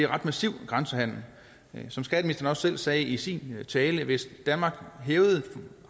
ret massiv grænsehandel som skatteministeren også selv sagde i sin tale hvis danmark hævede